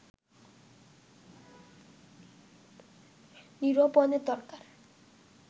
নিরূপণের দরকার